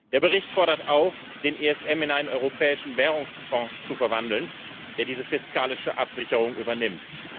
Der Bericht fordert auch, den ESM in einen europäischen Währungsfonds zu verwandeln, der diese fiskalische Absicherung übernimmt.